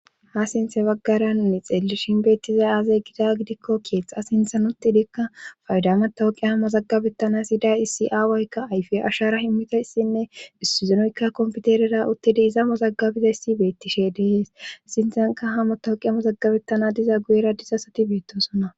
ha sinthe baggara mi xeeli shinbeettizay aazey gida gidikko keexxa sinthanotidikka faydametahoqe ha mazaggabettana siiday isi7awoykka ayfi ashara himmitossinne issizonoykka kompiterera uttidi iza mozagabiza yssi beettishe dehees sinthanka ha motahoqe hamozaggabettana diza guyera disasati beettosonna